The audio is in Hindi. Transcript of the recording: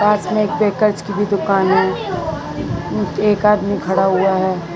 पास में एक बेकर्स की भी दुकान है एक आदमी खड़ा हुआ है।